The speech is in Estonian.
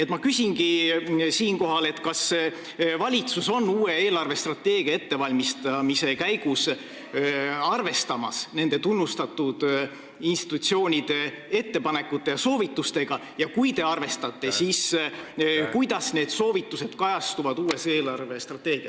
Ma küsingi siinkohal, kas valitsus on uue eelarvestrateegia ettevalmistamise käigus arvestamas nende tunnustatud institutsioonide ettepanekute ja soovitustega ning kui te nendega arvestate, siis kuidas need soovitused kajastuvad uues eelarvestrateegias.